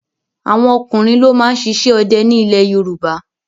Àwọn ọkùnrin ló máa ń ṣiṣẹ́ ọdẹ ní ilẹ̀ Yorùbá.